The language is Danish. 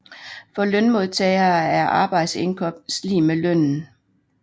For lønmodtagere er arbejdsindkomst lig med lønnen